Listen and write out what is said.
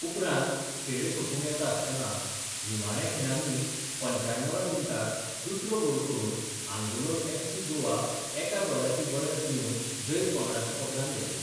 उपरांत खेळ सोंपूक येता आसतना निमाण्या खिणांनी पंच्याण्णवव्या मिणटाक दुसरो गोल करून आंगुलोन एफसी गोवा एका गोलाची बडत दिवन जैत पंगडाच्या पदरांत घेतलें.